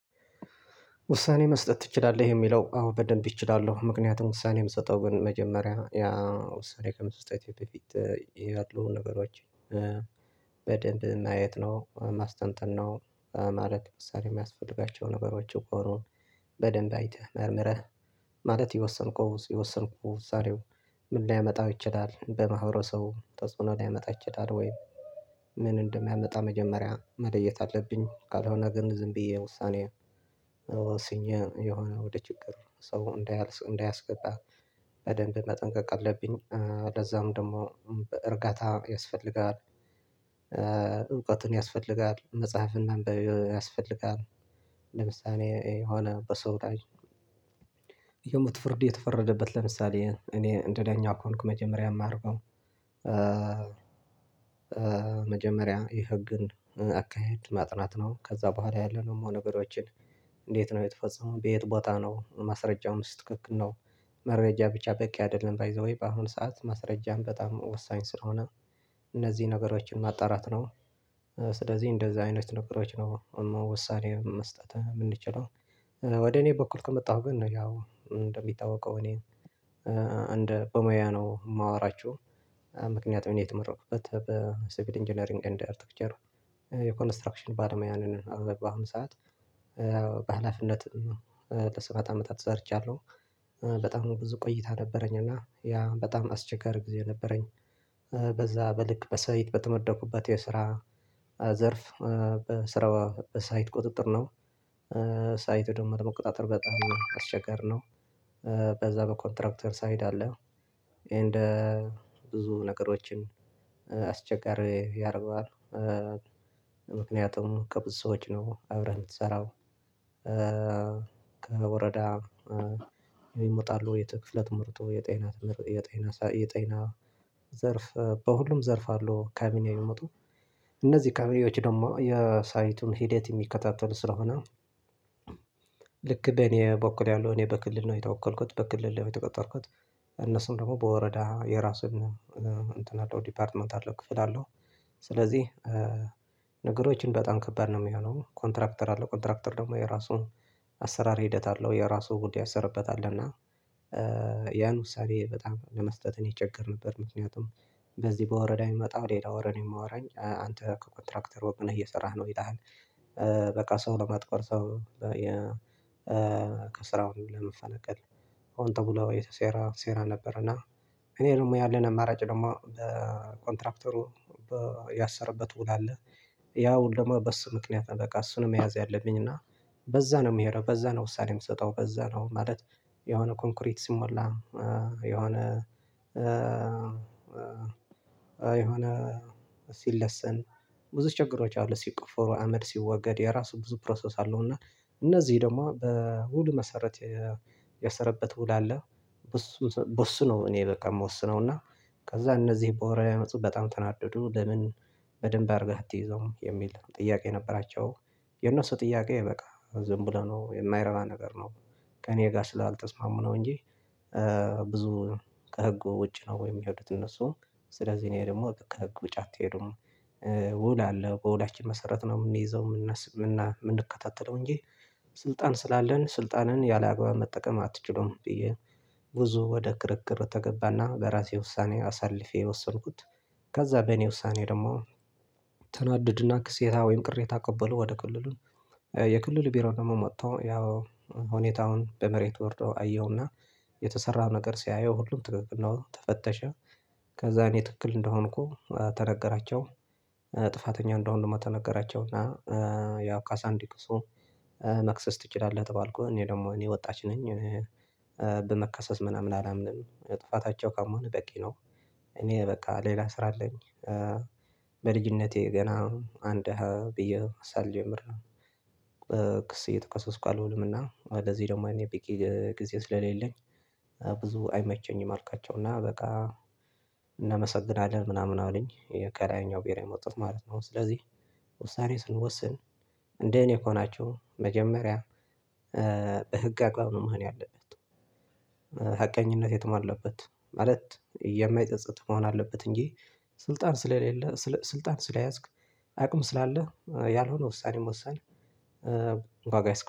ውሳኔ መስጠት ትችላለህ? የሚለው አዎ በደንብ እችላለሁ። ምክንያቱም ውሳኔ ምስጠው ግን መጀመሪያ ውሳኔ ከመስጠቴ በፊት ያለውን ነገሮችን በደንብ ማየት ነው ማስጠንጠን ነው። ማለት መሳሪያ የሚያስፈልጋቸው ነገሮች ከሆኑ በደንብ አይተህ መርምረህ ማለት የወሰንከው ውሳኔ ምን ሊያመጣ ይችላል? በማህበረሰቡ ተጽዕኖ ሊያመጣ ይችላል ወይ? ምን እንደሚያመጣ መጀመሪያ መለየት አለብኝ። ካልሆነ ግን ዝም ብዬ ውሳኔ ወስኜ የሆነ ወደ ችግር ሰው እንዳያስቀጣ በደንብ መጠንቀቅ አለብኝ፤ ለዛም ደግሞ በእርጋታ ያስፈልጋል። እውቀትም ያስፈልጋል መፅሐፍን ማንበብ ያስፈልጋል። ለምሳሌ የሆነ በሰው ወዳጅ የሞት ፍርድ የተፈረደበት ለምሳሌ እኔ እንደዳኛ ከሆንኩ መጀመሪያ የማደርገው፣ መጀመሪያ የህግን አካሄድ ማጥናት ነው። ከዛ በኋላ ያሉ ሙሉ ነገሮችን እንዴት ነው የተፈጸመው? በየት ቦታ ነው? ማስረጃውስ ትክክል ነው? መረጃ ብቻ በቂ አይደለም። ባይ ዘ ዌይ በአሁን ሰዓት ማስረጃም በጣም ወሳኝ ስለሆነ እነዚህን ነገሮችን ማጣራት ነው። ስለዚህ እንደዚህ አይነት ነገሮች ነው ውሳኔ መስጠት የምንችለው ወደ እኔ በኩል ከመጣሁ ግን ነው ያው እንደሚታወቀው እኔ እንደ በሙያ ነው የማወራችሁ፤ ምክንያቱም እኔ የተመረኩበት በሲቪል ኢንጂነሪንግ ኤንድ አርክቴክቸር የኮንስትራክሽን ባለሙያ ነኝ በአሁን ሰዓት። በሃላፊነት ለሰባት አመታት ሰርቻለሁ በጣም ብዙ ቆይታ ነበረኝ እና ያ በጣም አስቸገር ጊዜ ነበረኝ። በዛ በልክ በሳይት በተመደኩበት የስራ ዘርፍ ስራው ሳይት ቁጥጥር ነው። ሳይት ደግሞ ለመቆጣጠር በጣም አስቸጋሪ ነው። በዛ በኮንትራክተር ሳይድ አለ ኤንድ ብዙ ነገሮችን አስቸጋሪ ያደርገዋል፤ ምክንያቱም ከብዙ ሰዎች ነው አብረህ የምትሰራው። ከወረዳ የሚመጡ አሉ የክፍለ ትምህርቱ የጤና ዘርፍ በሁሉም ዘርፍ አሉ ካቢኔ የሚመጡ። እነዚህ ካቢኔዎች ደግሞ የሳይቱን ሂደት የሚከታተሉ ስለሆነ ልክ በኔ በኩል ያለው እኔ በክልል ነው የተወከልኩት በክልል የተቀጠርኩት፤ እነሱም ደግሞ በወረዳ የራስን እንትን አለው ዲፓርትመንት አለው ክፍል አለው ስለዚህ ነገሮች በጣም ከባድ ነው የሚሆነው ኮንትራክተር አለው ኮንትራክተር ደግሞ የራሱን አሰራር ሂደት አለው የራሱን ሁድ ያሰረበት አለ። እና ያን ውሳኔ በጣም ለመስጠት እኔ እቸገር ነበር። ምክንያቱም በዚህ በወረዳ የሚመጣው ሌላ ወሬ ነው የሚያወራኝ፦ አንተ ከኮንትራክተር ወግነህ እየሰራህ ነው ይልሃል። በቃ ሰው ለማጥቆር ሰው፣ ከስራው ለማፈናቀል ሆን ተብሎ የተሴረ ሴራ ነበር። እና እኔ ደግሞ ያለኝ አማራጭ ደግሞ ለኮንትራክተሩ ያሰረበት ውል አለ። ያ ውል ደግሞ በሱ ምክንያት ነው። በቃ እሱን ነው መያዝ ያለብኝ እና በዛ ነው የምሄደው በዛ ነው ውሳኔ የምትሰጠው በዛ ነው ማለት የሆነ ኮንክሪት ሲሞላ የሆነ፣ ሲለሰን ብዙ ችግሮች አሉ ሲቆፈሩ አመድ ሲወገድ የራሱ ብዙ ፕሮሰስ አለው። እና እነዚህ ደግሞ በውሉ መሰረት ያሰረበት ውል አለ በሱ ነው እኔ በቃ የምወስነው። እና ከዛ እነዚህ በወረራ የመጡት በጣም ተናደዱ፤ ለምን በደንብ አድርገህ አትይዘውም የሚል ጥያቄ ነበራቸው። የነሱ ጥያቄ በቃ ዝም ብሎ ነው የማይረባ ነገር ነው። ከእኔ ጋር ስላልተስማሙ ነው እንጂ፣ ብዙ ከህጉ ውጪ ነው ወይ የሚወዱት እነሱ ስለዚህ እኔ ደግሞ ከህግ ውጪ አትሄዱም፣ ውል አለ በውላችን መሰረት ነው የምንይዘው የምንከታተለው እንጂ ስልጣን ስላለህ ስልጣንህን ያለ አግባብ መጠቀም አትችሉም። ብዬ ብዙ ወደ ክርክር ተገባና በራሴ ውሳኔ አሳልፌ ወሰንኩት ከዛ በእኔ ውሳኔ ደግሞ ተናደዱና ክሴታ ወይም ቅሬታ አቀበሉ ወደ ክልሉ የክልሉ ቢሮ ደግሞ መጥቶ ያው ሁኔታውን በመሬት ወርዶ አየውና የተሰራ ነገር ሲያየው ሁሉም ትክክል ነው። ተፈተሸ ከዛ እኔ ትክክል እንደሆንኩ ተነገራቸው ጥፋተኛ እንደሆኑ ደግሞ ተነገራቸው። እና ካሳ እንዲክሱ መክሰስ ትችላለህ ተባልኩኝ፤ እኔ ደግሞ እኔ ወጣች ነኝ በመከሰስ ምናምን አላምንም ጥፋታቸው ካመኑ በቂ ነው። እኔ በቃ ሌላ ስራ አለኝ በልጅነቴ ገና አንድ ብዬ ሳልጀምር ክስ እየተካሰስኩ አልውልም። እና ለዚህ ደግሞ እኔ በቂ ጊዜ ስለሌለኝ፣ ብዙ አይመቸኝም አልኳቸው እና በቃ እናመሰግናለን ምናምን አሉኝ ከላይኛው ብሄር የመጡት ማለት ነው፤ ስለዚህ ወሳኔ ስንወስን እንደ እኔ ሆናችሁ መጀመሪያ በህግ አግባብ ነው መሆን ያለበት። ሀቀኝነት የተሟላበት ማለት የማይፀፅት መሆን አለበት፤ እንጂ ስልጣን ስለሌለ ስልጣን ስለያዝክ አቅም ስላለህ ያልሆነ ውሳኔ መወሰን ዋጋ ያስከፍላል።